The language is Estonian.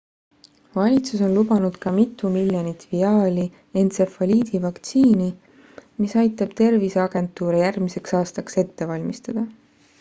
valitsus on lubanud ka mitu miljonit viaali entsefaliidivaktsiini mis aitab terviseagentuure järgmiseks aastaks ette valmistada